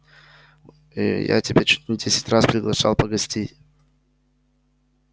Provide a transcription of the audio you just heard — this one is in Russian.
ээ я тебя чуть не десять раз приглашал погостить